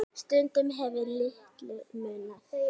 Stundum hefur litlu munað.